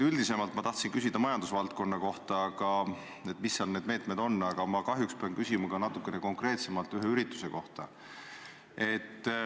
Ma tahtsin teilt küsida majandusvaldkonna kohta – mis meetmed seal on –, aga kahjuks pean küsima natukene konkreetsemalt ühe ürituse kohta.